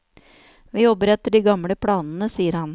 Vi jobber etter de gamle planene, sier han.